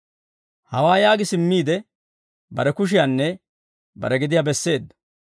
Hawaa yaagi simmiide, bare kushiyaanne bare gediyaa besseedda.